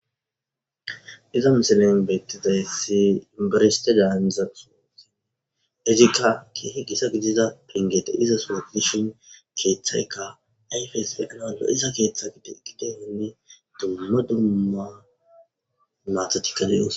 iza misilen beettizaysi inbarishte daanzasosine ezikka ki higisa gidida pingete izasoa dishin keeththayka ayfeys beqanado iza keeththa ide gide hinni dummo dumma mathotika dins